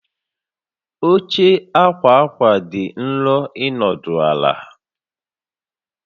Oche ákwà ákwà dị nro ịnọdụ ala